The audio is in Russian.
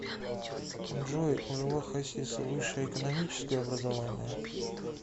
джой у льва хасиса высшее экономическое образование